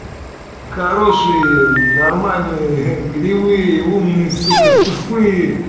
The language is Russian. хорошие нормальные кривые умный сука тупые